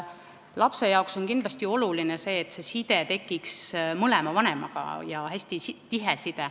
Lapse jaoks on kindlasti oluline see, et tekiks side ja hästi tihe side mõlema vanemaga.